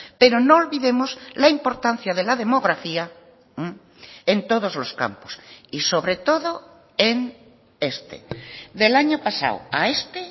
pero no olvidemos la importancia de la demografía en todos los campos y sobre todo en este del año pasado a este